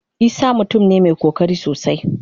Isah mutum ne mai kokari sosai.